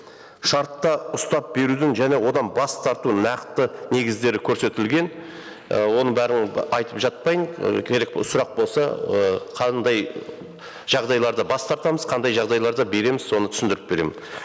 шартта ұстап берудің және одан бас тарту нақты негіздері көрсетілген ы оның бәрін айтып жатпайын ы керек сұрақ болса ы қандай жағдайларда бас тартамыз қандай жағдайларда береміз соны түсіндіріп беремін